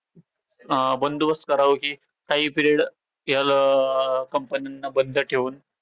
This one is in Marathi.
अं बंदोबस्त करावं कि काही period अं company ना बंद ठेऊन.